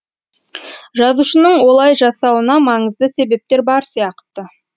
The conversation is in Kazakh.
жазушының олай жасауына маңызды себептер бар сияқты